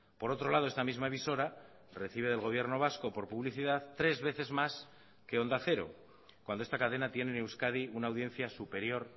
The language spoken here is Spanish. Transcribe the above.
por otro lado esta misma emisora recibe del gobierno vasco por publicidad tres veces más que onda cero cuando esta cadena tiene en euskadi una audiencia superior